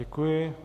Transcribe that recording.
Děkuji.